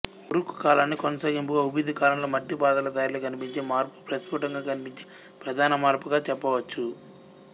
Uruk కాలాన్ని కొనసాగింపుగా Ubaid కాలంలో మట్టిపాత్రల తయారీలో కనిపించే మార్పు ప్రస్పుటంగా కనిపించే ప్రధాన మార్పుగా చెప్పవచ్చు